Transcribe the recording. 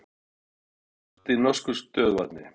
Lík finnst í norsku stöðuvatni